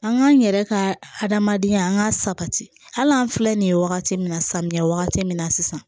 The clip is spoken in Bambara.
An k'an yɛrɛ ka hadamadenya an ka sabati hali an filɛ nin ye wagati min na samiya wagati min na sisan